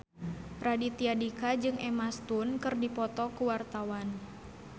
Raditya Dika jeung Emma Stone keur dipoto ku wartawan